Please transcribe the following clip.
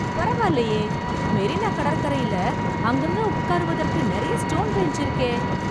பரவாயில்லயே ! மெரினா கடற்கரையில அங்கங்க உட்காருவதற்கு நிறைய ஸ்டோன் பெஞ்ச் இருக்கே!